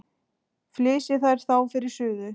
Flysjið þær þá fyrir suðu.